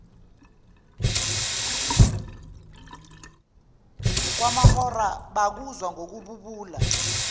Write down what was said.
kwamahora bekuzwa ngokububula